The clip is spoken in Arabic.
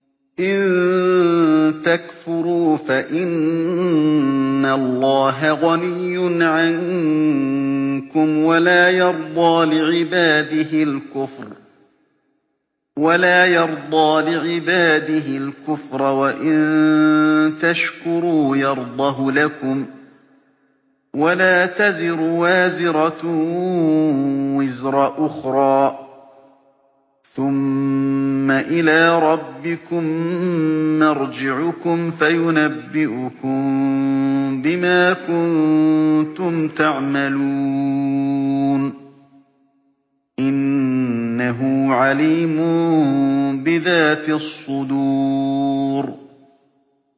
إِن تَكْفُرُوا فَإِنَّ اللَّهَ غَنِيٌّ عَنكُمْ ۖ وَلَا يَرْضَىٰ لِعِبَادِهِ الْكُفْرَ ۖ وَإِن تَشْكُرُوا يَرْضَهُ لَكُمْ ۗ وَلَا تَزِرُ وَازِرَةٌ وِزْرَ أُخْرَىٰ ۗ ثُمَّ إِلَىٰ رَبِّكُم مَّرْجِعُكُمْ فَيُنَبِّئُكُم بِمَا كُنتُمْ تَعْمَلُونَ ۚ إِنَّهُ عَلِيمٌ بِذَاتِ الصُّدُورِ